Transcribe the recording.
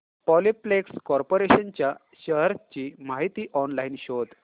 Polyplex corporation च्या shares ची माहिती ऑनलाइन शोध